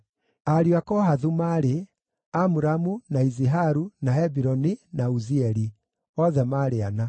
Ariũ a Kohathu maarĩ: Amuramu, na Iziharu, na Hebironi, na Uzieli: othe maarĩ ana.